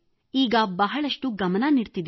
ಈಗ ಬಹಳಷ್ಟು ಗಮನ ನೀಡುತ್ತಿದ್ದೇನೆ